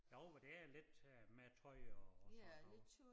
Jo men det er lidt øh med tøj og sådan noget